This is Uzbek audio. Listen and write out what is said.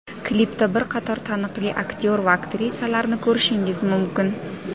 Klipda bir qator taniqli aktyor va aktrisalarni ko‘rishingiz mumkin.